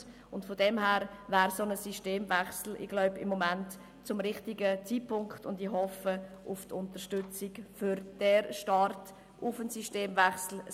Daher wäre es für einen Systemwechsel gegenwärtig der richtige Zeitpunkt, und ich hoffe auf Unterstützung für den Start hin zu einem Systemwechsel.